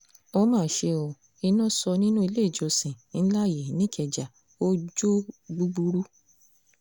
ó mà ṣe ó iná sọ nínú ilé ìjọsìn ńlá yìí nìkẹ́jà ò jó o gbúgbúrú